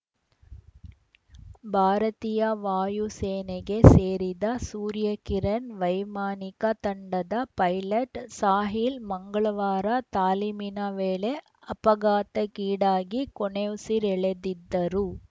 ಭಾರತೀಯ ವಾಯು ಸೇನೆಗೆ ಸೇರಿದ ಸೂರ್ಯಕಿರಣ್ ವೈಮಾನಿಕ ತಂಡದ ಪೈಲಟ್‌ ಸಾಹಿಲ್‌ ಮಂಗಳವಾರ ತಾಲೀಮಿನ ವೇಳೆ ಅಪಘಾತಕ್ಕೀಡಾಗಿ ಕೊನೆಯುಸಿರೆಳೆದಿದ್ದರು